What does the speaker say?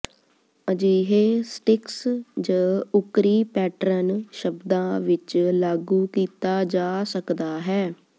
ਅਜਿਹੇ ਸਟਿਕਸ ਜ ਉੱਕਰੀ ਪੈਟਰਨ ਸ਼ਬਦਾ ਵਿੱਚ ਲਾਗੂ ਕੀਤਾ ਜਾ ਸਕਦਾ ਹੈ